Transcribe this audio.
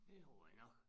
Det tror jeg nok